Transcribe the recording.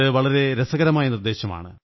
വളരെ രസകരമായ നിര്ദ്ദേ ശമാണ്